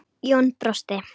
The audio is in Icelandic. Jón brosti.